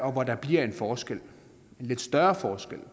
og hvor der bliver en forskel en lidt større forskel